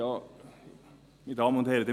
Meine Damen und Herren: